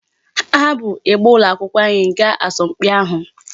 Ha bu ịgba ụlọakwụkwọ anyị gaa asọmpi ahụ.